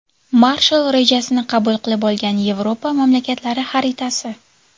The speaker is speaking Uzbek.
Marshall rejasini qabul qilib olgan Yevropa mamlakatlari xaritasi.